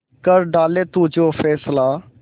कर डाले तू जो फैसला